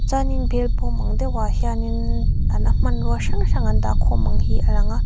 chuanin bêlbawm ang deuhah hianin a la hmanrua hrang hrang an dah khâwm ang hi a lang a.